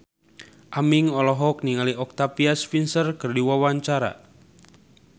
Aming olohok ningali Octavia Spencer keur diwawancara